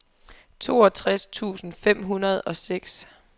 toogtres tusind fem hundrede og seks